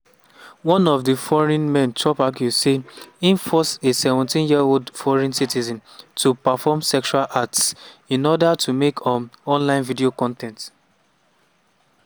one of di foreign men chop accuse say im force a 17-year-old foreign citizen to "perform sexual acts" in order to make um online video con ten t.